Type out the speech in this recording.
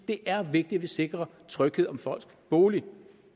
det er vigtigt at vi sikrer tryghed om folks bolig